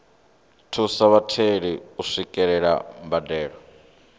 thusa vhatheli u swikelela mbadelo